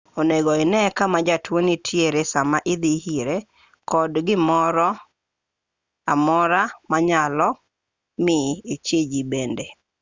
onego ine kama jatuo nitie sama idhi ire kod gimoro amora manyalo mi ichiji bende